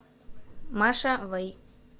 маша вэй